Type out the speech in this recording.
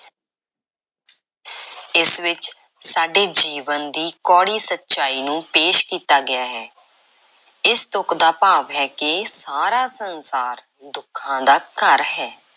ਇਸ ਵਿੱਚ ਸਾਡੇ ਜੀਵਨ ਦੀ ਕੌੜੀ ਸੱਚਾਈ ਨੂੰ ਪੇਸ਼ ਕੀਤਾ ਗਿਆ ਹੈ। ਇਸ ਤੁਕ ਦਾ ਭਾਵ ਹੈ ਕਿ ਇਹ ਸਾਰਾ ਸੰਸਾਰ ਦੁੱਖਾਂ ਦਾ ਘਰ ਹੈ।